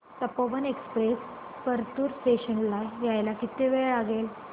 Tapovan express Partur station ला यायला किती वेळ लागेल